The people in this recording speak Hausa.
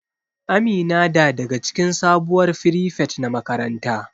Amina da daga cikin sabuwar firifet na makaranta.